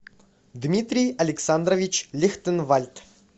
дмитрий александрович лихтенвальд